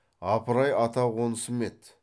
апыр ай ата қонысым еді